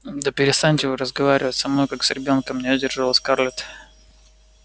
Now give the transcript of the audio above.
да перестаньте вы разговаривать со мной как с ребёнком не выдержала скарлетт